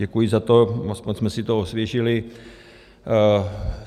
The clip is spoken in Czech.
Děkuji za to, aspoň jsme si to osvěžili.